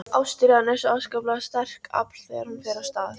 Ástríðan er svo afskaplega sterkt afl þegar hún fer af stað.